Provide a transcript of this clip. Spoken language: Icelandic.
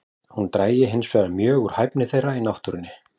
Hún drægi hinsvegar mjög úr hæfni þeirra í náttúrunni.